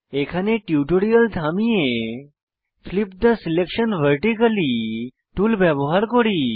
এখানে টিউটোরিয়াল থামিয়ে flip the selection vertically tool ব্যবহার করি